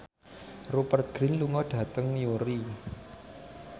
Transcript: Rupert Grin lunga dhateng Newry